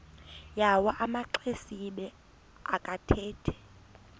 yawo amaxesibe akathethi